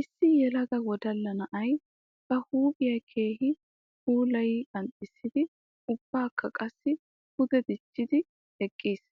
Issi yelaga wodalla na'ay ba huuphiya keehi puulayi qanxxissiddi ubbakka qassi pude dichiddi eqqiis.